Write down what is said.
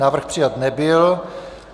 Návrh přijat nebyl.